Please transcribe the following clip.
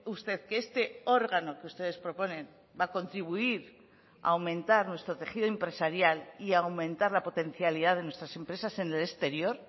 usted que este órgano que ustedes proponen va a contribuir a aumentar nuestro tejido empresarial y a aumentar la potencialidad de nuestras empresas en el exterior